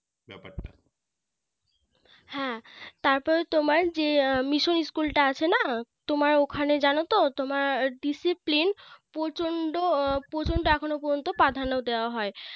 হ্যাঁ তারপরে তোমার যে Mission School টা আছে না তোমার ওখানে জানোতো তোমার Discipline প্রচণ্ড প্রচণ্ড এখনো পর্যন্ত প্রাধান্য দেওয়া হয়